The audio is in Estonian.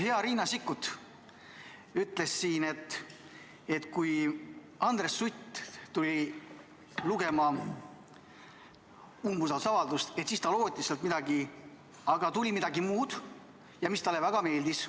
Hea Riina Sikkut ütles siin, et kui Andres Sutt tuli lugema umbusaldusavaldust, siis ta lootis sealt midagi, aga tuli midagi muud, mis talle väga meeldis.